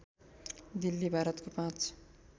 दिल्ली भारतको पाँच